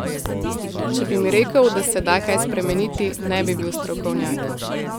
Če bi mi rekel, da se da kaj spremeniti, ne bi bil strokovnjak.